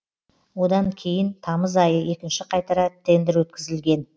одан кейін тамыз айы екінші қайтара тендр өткізілген